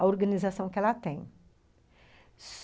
A organização que ela tem.